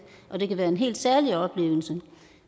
og det kan være en helt særlig oplevelse